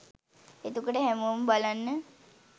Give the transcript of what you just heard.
එතකොට හැමෝම බලන්න